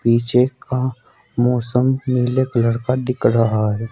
पीछे का मौसम नीले कलर का दिख रहा है।